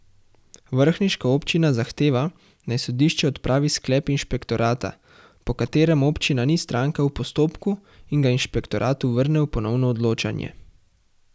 Vrhniška občina zahteva, naj sodišče odpravi sklep inšpektorata, po katerem občina ni stranka v postopku, in ga inšpektoratu vrne v ponovno odločanje.